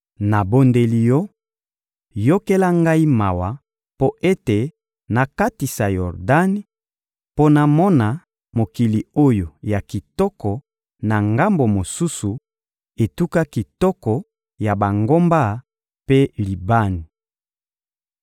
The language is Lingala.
Nabondeli Yo, yokela ngai mawa mpo ete nakatisa Yordani mpo namona mokili oyo ya kitoko na ngambo mosusu, etuka kitoko ya bangomba mpe Libani.